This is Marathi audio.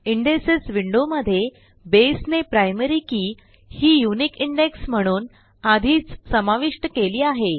इंडेक्सेस विंडोमध्ये बसे ने प्रायमरी के ही युनिक इंडेक्स म्हणून आधीच समाविष्ट केली आहे